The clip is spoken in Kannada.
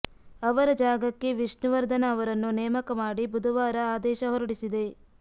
ಅವರ ಜಾಗಕ್ಕೆ ವಿಷ್ಣುವರ್ಧನ ಅವರನ್ನು ನೇಮಕ ಮಾಡಿ ಬುಧವಾರ ಆದೇಶ ಹೊರಡಿಸಿದೆ